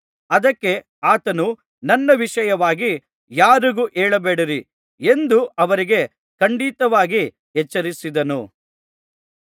ಅದಕ್ಕೆ ಆತನು ನನ್ನ ವಿಷಯವಾಗಿ ಯಾರಿಗೂ ಹೇಳಬೇಡಿರಿ ಎಂದು ಅವರಿಗೆ ಖಂಡಿತವಾಗಿ ಎಚ್ಚರಿಸಿದನು